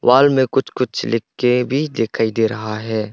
Hall में कुछ कुछ लिख के भी दिखाई दे रहा है।